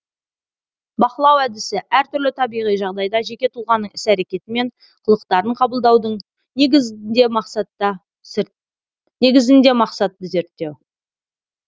бақылау әдісі әр түрлі табиғи жағдайда жеке тұлғаның іс әрекеті мен қылықтарын қабылдаудың негізінде мақсатты зерттеу